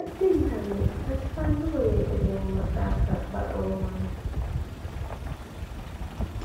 addintanni baxisannoho yee hedoomma daafira baxoommansa.